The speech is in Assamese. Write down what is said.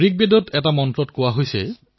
ঋগবেদত কোৱা হৈছে